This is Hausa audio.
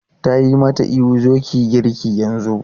Ta yi mata ihu 'zo ki yi girki yanzu!'